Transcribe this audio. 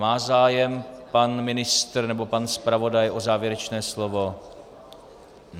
Má zájem pan ministr nebo pan zpravodaj o závěrečné slovo?